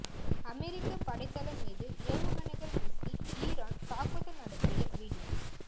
அமெரிக்க படை தளம் மீது ஏவுகணைகள் வீசி ஈரான் தாக்குதல் நடத்திய வீடியோ